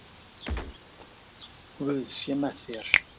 Guð sé með þér.